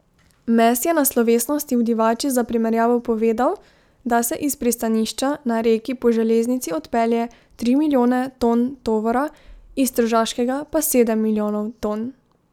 Mes je na slovesnosti v Divači za primerjavo povedal, da se iz pristanišča na Reki po železnici odpelje tri milijone ton tovora, iz tržaškega pa sedem milijonov ton.